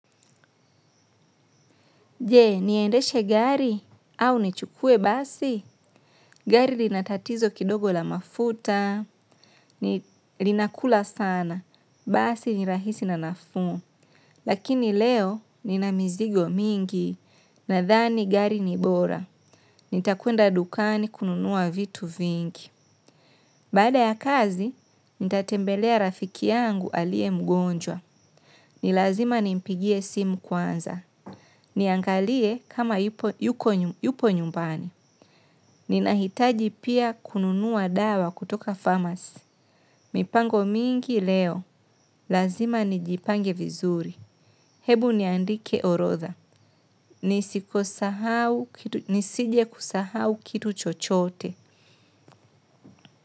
Jee, niendeshe gari au nichukue basi? Gari lina tatizo kidogo la mafuta, linakula sana. Basi ni rahisi na nafuu. Lakini leo nina mizigo mingi nadhani gari ni bora. Nitakwenda dukani kununua vitu vingi. Baada ya kazi, nitatembelea rafiki yangu alie mgonjwa. Ni lazima nimpigie simu kwanza. Niangalie kama yuko nyumbani. Ninahitaji pia kununuwa dawa kutoka pharmacy. Mipango mingi leo. Lazima nijipange vizuri. Hebu niandike orodha. Nisije kusahau kitu chochote.